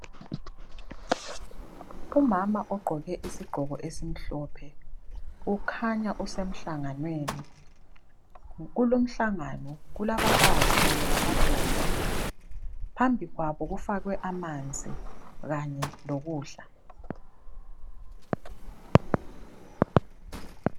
Umama ugqoke isigqoko esimhlophe ukhanya usemhlanganweni .Kulomhlangano kukhanya kulabafazi lamadoda ,phambi kwabo kufakwe amanzi kanye lokudla .